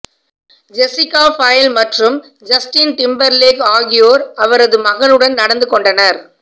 Jessica Biel மற்றும் Justin Timberlake ஆகியோர் அவரது மகனுடன் நடந்துகொண்டனர்